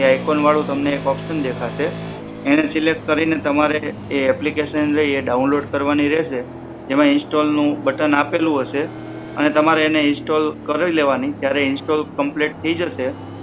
એ icon વાળો તમને એક ઓપશન દેખાશે એને સિલક્ટ કરીને તમારે એ એપ્લિકેશન રે એને ડાઉનલોડ કરવાની રહેશે. એમાં ઇન્સ્ટોલ નું બટન આપેલું હશે અને તમારે એને ઇન્સ્ટોલ કરી લેવાની જયારે ઇન્સ્ટોલ કમ્પ્લીટ થી જશે